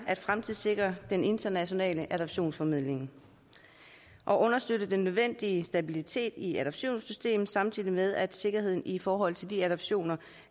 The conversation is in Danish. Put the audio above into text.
at fremtidssikre den internationale adoptionsformidling og at understøtte den nødvendige stabilitet i adoptionssystemet samtidig med at sikkerheden i forhold til de adoptioner